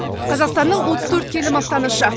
қазақстанның отыз төрт келі мақтанышы